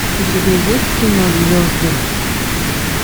у тебя есть кино звезды